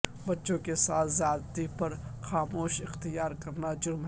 بچوں کے ساتھ زیادتی پر خاموشی اختیار کرنا جرم ہے